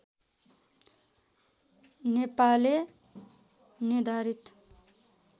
नेपाले निर्धारित